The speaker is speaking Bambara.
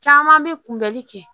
Caman bɛ kunbɛli kɛ